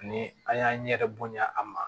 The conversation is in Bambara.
Ni an y'an ɲɛ bonya a ma